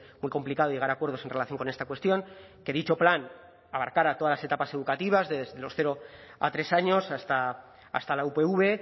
muy complicado llegar a acuerdos en relación con esta cuestión que dicho plan abarcara todas las etapas educativas desde los cero a tres años hasta la upv